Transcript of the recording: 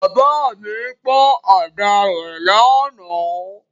Bàbá mi pọ́n àdá rẹ̀ lánàá.